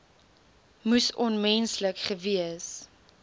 moes onmenslik gewees